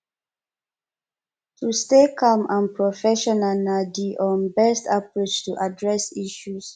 to stay calm and professional na di um best approach to address issue